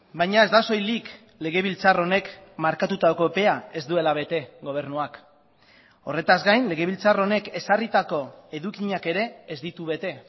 baina ez da soilik legebiltzar honek markatutako epea ez duela bete gobernuak horretaz gain legebiltzar honek ezarritako edukiak ere ez ditu bete